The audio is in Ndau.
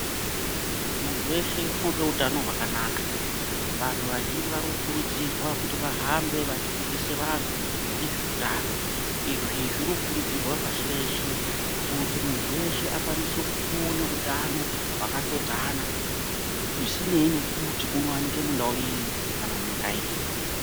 Muntu weshe unoda utano hwakanaka , vantu vazhinji vari kukurudzirwa kuti vahambe vachidzidzisa vantu nezveutano .Izvi zviri kukurudzirwa pashi reshe kuti muntu weshe akwanise kuva neutano hwakatoodzana zvisineyi nekuti unowanikwa mundau iri kana munyika iri.